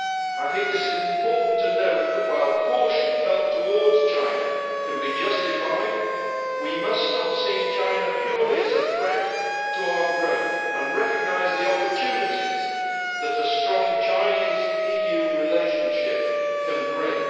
I think it is important to note that, while caution felt towards China can be justified, we must stop seeing China purely as a threat to our growth and recognise the opportunities that a strong China EU relationship can bring.